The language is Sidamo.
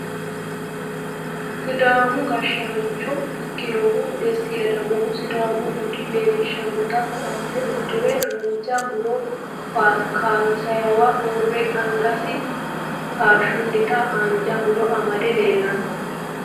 Siidaamu gashshaancho ikkinohu desti ledamohu sidaamu bude leellishshannota koote uddire haanja muro kaansanniwa uurre angasi kashshunnita haanja muro amade leellanno